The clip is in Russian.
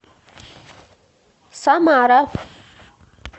самара